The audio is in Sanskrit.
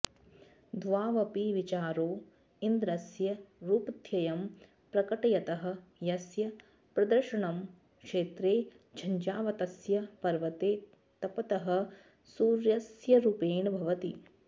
द्वावपि विचारौ इन्द्रस्य रूपद्वयं प्रकटयतः यस्य प्रदर्शनं क्षेत्रे झञ्झावातस्य पर्वते तपतः सूर्यस्यरूपेण भवति